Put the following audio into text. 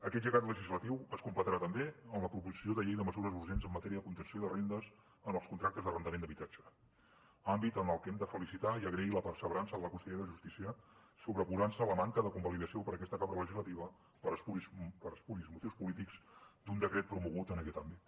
aquest llegat legislatiu es completarà també amb la proposició de llei de mesures urgents en matèria de contenció de rendes en els contractes d’arrendament d’habitatge àmbit en el que hem de felicitar i agrair la perseverança de la consellera de justícia en sobreposar se a la manca de convalidació per aquesta cambra legislativa per espuris motius polítics d’un decret promogut en aquest àmbit